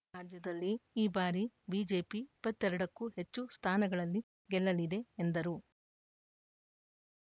ರಾಜ್ಯದಲ್ಲಿ ಈ ಬಾರಿ ಬಿಜೆಪಿ ಇಪ್ಪತ್ತ್ ಎರಡಕ್ಕೂ ಹೆಚ್ಚು ಸ್ಥಾನಗಳಲ್ಲಿ ಗೆಲ್ಲಲಿದೆ ಎಂದರು